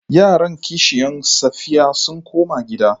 Yaran kishiyan Safiya sun koma gida.